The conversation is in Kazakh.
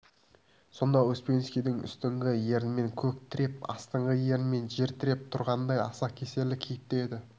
сонда успенский үстіңгі ернімен көк тіреп астыңғы ернімен жер тіреп тұрғандай аса кесірлі кейіпте еді